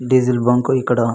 Diesel bunk ఇక్కడ --